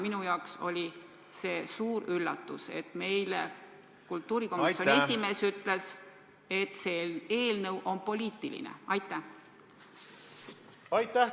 Minu jaoks oli suur üllatus, kui kultuurikomisjoni esimees ütles, et see eelnõu on poliitiline.